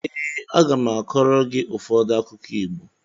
Ee, a ga m akọrọ gị ụfọdụ akụkọ Igbo.